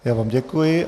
Já vám děkuji.